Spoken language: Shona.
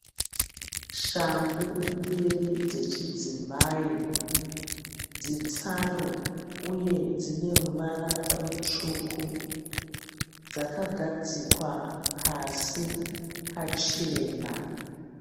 Shangu mbiri dzechidzimai. Dzitsaru uye dzine ruvara rutsvuku. Dzakagadzikwa pasi pachena.